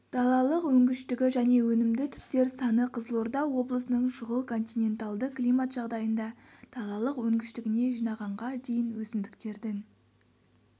далалық өнгіштігі және өнімді түптер саны қызылорда облысының шұғыл-континенталды климат жағдайында далалық өнгіштігіне жинағанға дейін өсімдіктердің